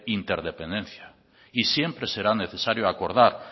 interdependencia y siempre será necesario acordar